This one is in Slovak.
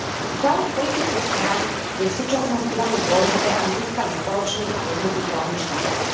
V záujme politických strán je v súčasnosti veľmi dôležité, aby získali spoločný a jednotný právny štatút.